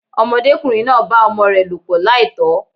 Ọmọdékùnrin náà bá ọmọ rè lòpọ̀ láìtó